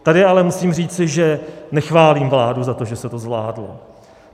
Tady ale musím říci, že nechválím vládu za to, že se to zvládlo.